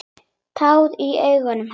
Tár í augum hennar.